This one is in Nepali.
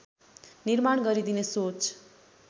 निर्माण गरिदिने सोच